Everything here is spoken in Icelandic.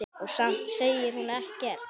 Og samt segir hún ekkert.